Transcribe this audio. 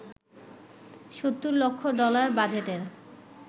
৭০ lakh dollar বাজেটের